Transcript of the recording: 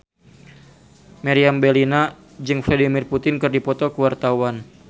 Meriam Bellina jeung Vladimir Putin keur dipoto ku wartawan